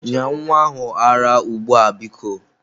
Nye nwa ahụ ara ara ugbu a biko.